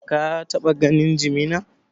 Ka taɓa ganin jimina?